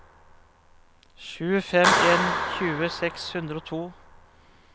sju fem en en tjue seks hundre og to